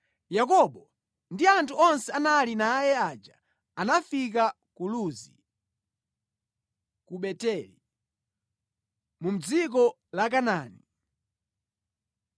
Yakobo ndi anthu onse anali naye aja anafika ku Luzi (ku Beteli) mu dziko la Kanaani.